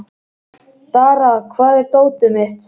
Dara, hvar er dótið mitt?